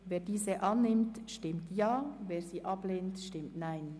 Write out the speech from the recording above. Wer diese annimmt, stimmt Ja, wer diese ablehnt, stimmt Nein.